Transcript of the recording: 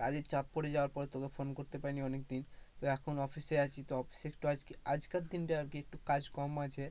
কাজের চাপ পড়ে যাওয়ার পর তোকে phone করতে পারিনি অনেকদিন তো এখন office এ আছি তো office এ একটু আজকের দিনটা আজকে একটু কাজ কম আছে